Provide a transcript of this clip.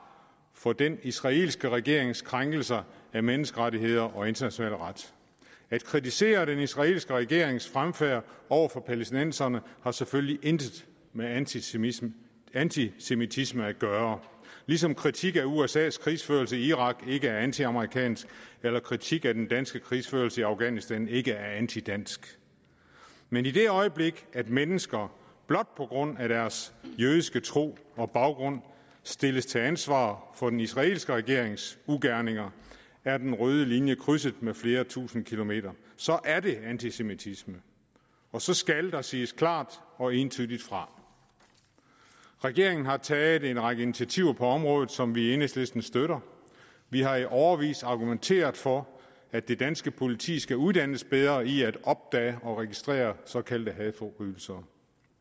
for den israelske regerings krænkelser af menneskerettigheder og international ret at kritisere den israelske regerings fremfærd over for palæstinenserne har selvfølgelig intet med antisemitisme antisemitisme at gøre ligesom kritik af usas krigsførelse i irak ikke er antiamerikansk eller kritik af den danske krigsførelse i afghanistan ikke er antidansk men i det øjeblik at mennesker blot på grund af deres jødiske tro og baggrund stilles til ansvar for den israelske regerings ugerninger er den røde linje krydset med flere tusinde kilometer så er det antisemitisme og så skal der siges klart og entydigt fra regeringen har taget en række initiativer på området som vi i enhedslisten støtter vi har i årevis argumenteret for at det danske politi skal uddannes bedre i at opdage og registrere såkaldte hadforbrydelser